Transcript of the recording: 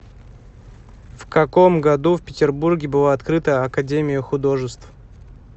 в каком году в петербурге была открыта академия художеств